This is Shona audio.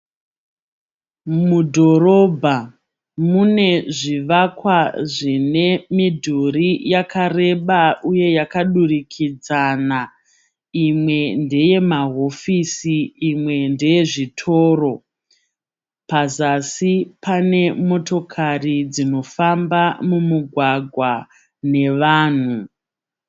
Mudhorobha mune zvivakwa zvine midhuri yakareba uye yakadurikidzana imwe ndeye mahofisi imwe ndeye zvitoro pazasi pane motokari dzinofamba mumugwagwa nevanhu.